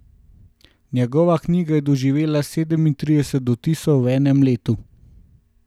Njegova knjiga je doživela sedemintrideset dotisov v enem letu.